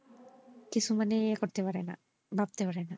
কিছু মানে য়ে করতে পারেনা ভাবতে পারেনা।